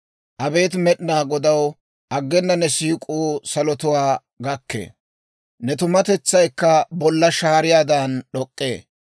Abeet Med'inaa Godaw, aggena ne siik'uu salotuwaa gakkee; ne tumatetsaykka bolla shaariyaadan d'ok'k'ee.